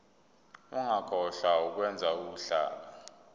ungakhohlwa ukwenza uhlaka